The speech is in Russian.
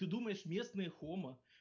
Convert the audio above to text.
ты думаешь местные хома